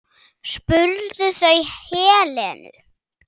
spurðu þau Helenu.